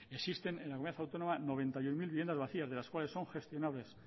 existen en la comunidad autónoma noventa y uno mil viviendas vacías de las cuales son gestionables